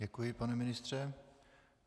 Děkuji, pane ministře.